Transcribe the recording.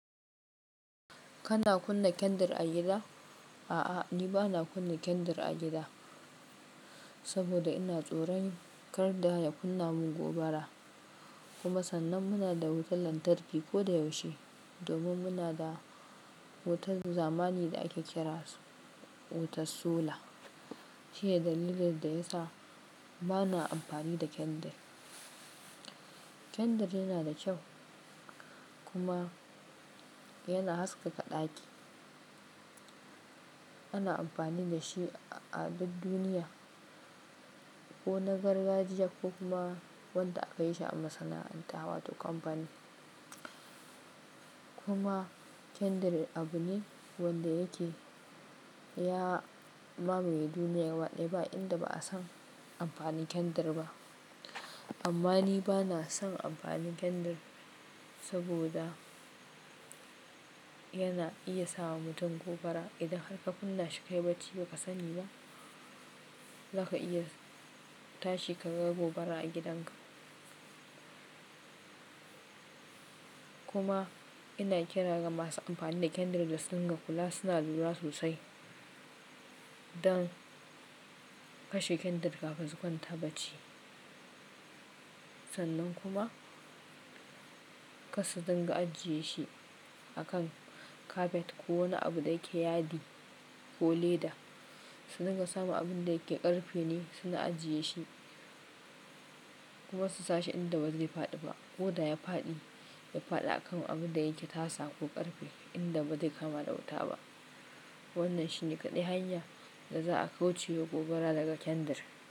Kana kunna kendir a gida? A'a, ni ba na kunna kendir a gida, saboda ina tsoron kar da ya kunna mun gobara. Kuma sannan muna da wutar lantarki kodayaushe, domin muna da wutar zamani da ake kira wutar sola. Shi ne dalilin da ya sa ba na amfani da kendir. Kendar yana da kyau kuma yana haskaka ɗaki. Ana amfani da shi a duk duniya, ko na gargajiya ko kuma wanda aka yi shi a masana'anta wato kampani. Kuma kendir abu ne wanda yake ya mamaye duniya gaba ɗaya ba inda ba a san amfanin kendir ba. Amma ni ba na son amfanin kendir saboda yana iya sa wa mutum gobara. Idan har ka kunna shi kayi bacci ba ka sani ba, za ka iya tashi ka ga gobara a gidanka. Kuma ina kira ga masu amfani da kendir da su dinga kula suna lura sosai don kashe kendir kafin su kwanta bacci. Sannan kuma kar su dinga ajiye shi a kan kafet ko wani abu da yake yadi ko leda. Su dinga samu abun da yake ƙarfe ne su na ajiye shi, kuma su sashi inda ba zai faɗi ba. Ko da ya faɗi, ya faɗi a kan abun da yake tasa ko ƙarfe inda ba zai kama da wuta ba. Wannan shi ne kaɗai hanya da za a kauce wa gobara daga kendar.